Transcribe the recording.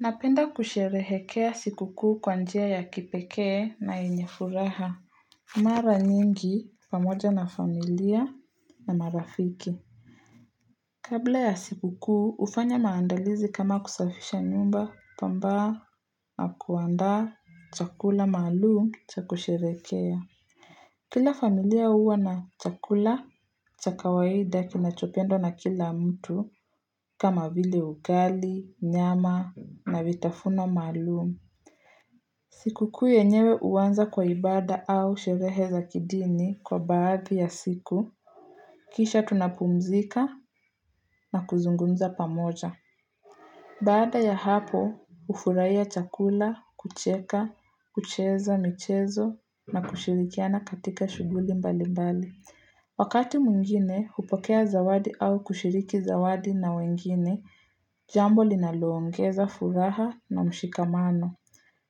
Napenda kusherehekea siku kuu kwa njia ya kipekee na yenye furaha. Mara nyingi pamoja na familia na marafiki. Kabla ya siku kuu, ufanya maandalizi kama kusafisha nyumba pambaa na kuandaa chakula maalum cha kusherekea. Kila familia huwa na chakula cha kawaida kinachopendwa na kila mtu kama vile ugali, nyama na vitafuna maalum. Sikukuu yenyewe uanza kwa ibada au sherehe za kidini kwa baadhi ya siku, kisha tunapumzika na kuzungumza pamoja. Baada ya hapo, ufurahia chakula, kucheka, kucheza michezo na kushirikiana katika shughuli mbali mbali. Wakati mwingine, hupokea zawadi au kushiriki zawadi na wengine, jambo linaloongeza furaha na mshikamano.